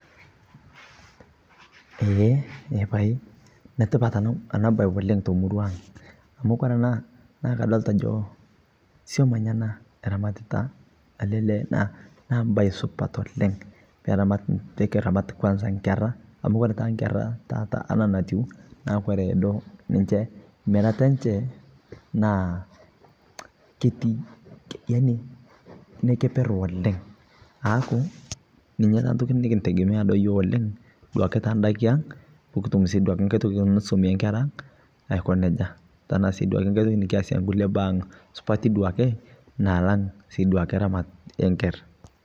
netipat anaa bai te murua aang, kore ramat ee nkeraa naa keisupat oleng amu ketii bei enchee keper oleng. ninyee kintegemea pikitu silinkinii nikilakie sukuul oo nikinyengunyee sii ndaa